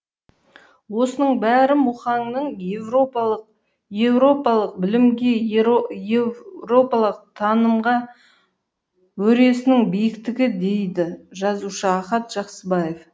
осының бәрі мұқаңның еуропалық білімге еуропалық танымға өресінің биіктігі дейді жазушы ахат жақсыбаев